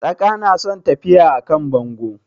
Tsaka na son tafiya a kan bango